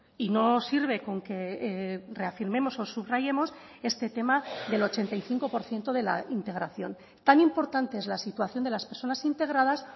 y no sirve con que reafirmemos o subrayemos este tema del ochenta y cinco por ciento de la integración tan importante es la situación de las personas integradas